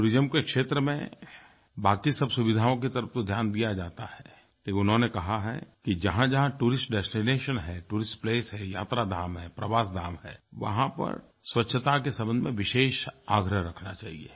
tourism के क्षेत्र में बाकी सब सुविधाओं की तरफ़ तो ध्यान दिया जाता है लेकिन उन्होंने कहा है कि जहाँजहाँ टूरिस्ट डेस्टिनेशन है टूरिस्ट प्लेस है यात्रा धाम है प्रवास धाम है वहाँ पर स्वच्छता के संबंध में विशेष आग्रह रखना चाहिये